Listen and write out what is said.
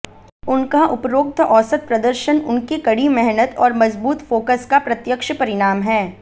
उनका उपरोक्त औसत प्रदर्शन उनके कड़ी मेहनत और मजबूत फोकस का प्रत्यक्ष परिणाम है